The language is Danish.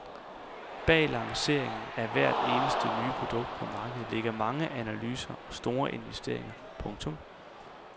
Bag lanceringen af hvert eneste nye produkt på markedet ligger mange analyser og store investeringer. punktum